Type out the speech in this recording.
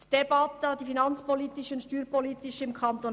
Die finanzpolitische und steuerpolitische Debatte im Kanton